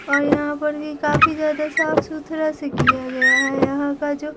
और यहाँ पर भी काफी ज्यादा साफ-सुथरा से किया गया है यहाँ का जो--